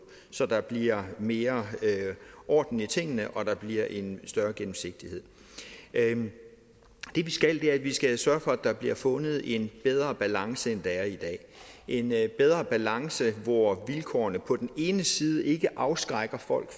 så der bliver mere orden i tingene og så der bliver en større gennemsigtighed det vi skal er at vi skal sørge for at der bliver fundet en bedre balance end der er i dag en bedre balance hvor vilkårene på den ene side ikke afskrækker folk